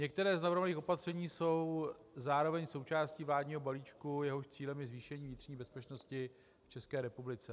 Některá z navrhovaných opatření jsou zároveň součástí vládního balíčku, jehož cílem je zvýšení vnitřní bezpečnosti v České republice.